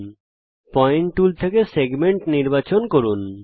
point tool থেকে প্রদত্ত দৈর্ঘ্যের সাথে সেগমেন্ট নির্বাচন করুন